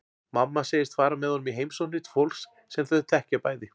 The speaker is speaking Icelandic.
Mamma segist fara með honum í heimsóknir til fólks sem þau þekkja bæði.